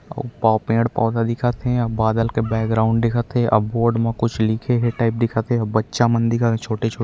पेड़-पौधा दिखत हे अउ बादल के बैकग्राउंड दिखत हे अउ बोर्ड म कुछ लिखे हे अउ बच्चा मन दिखत हे छोटे-छोटे--